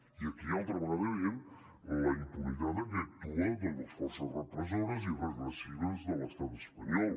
i aquí altra vegada veiem la impunitat amb què actuen doncs les forces repressores i regressives de l’estat espanyol